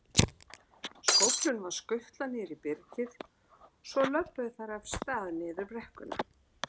Skóflunum var skutlað niður í byrgið, svo lölluðu þær af stað niður brekkuna.